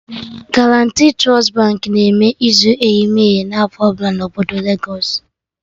Guaranti Trust Baankị na-eme izu eyimeyi na afọ ọbụla na obodo legos